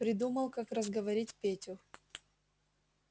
придумал как разговорить петю